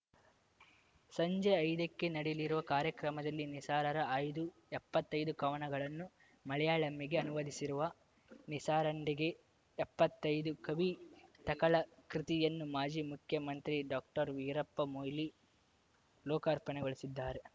ಸಂಜೆ ಐದಕ್ಕೆ ನಡೆಯಲ್ಲಿರುವ ಕಾರ್ಯಕ್ರಮದಲ್ಲಿ ನಿಸಾರರ ಆಯ್ದ ಎಪ್ಪತ್ತೈದು ಕವನಗಳನ್ನು ಮಲೆಯಾಳಂಗೆ ಅನುವಾದಿಸಿರುವ ನಿಸಾರಿಂಡೆ ಎಪ್ಪತ್ತೈದು ಕವಿತಕಳ ಕೃತಿಯನ್ನು ಮಾಜಿ ಮುಖ್ಯಮಂತ್ರಿ ಡಾಕ್ಟರ್ವೀರಪ್ಪ ಮೊಯ್ಲಿ ಲೋಕಾರ್ಪಣೆಗೊಳಿಸಲಿದ್ದಾರೆ